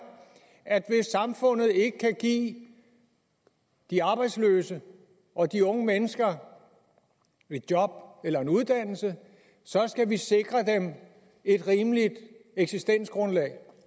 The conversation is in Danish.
at hvis samfundet ikke kan give de arbejdsløse og de unge mennesker et job eller en uddannelse skal vi sikre dem et rimeligt eksistensgrundlag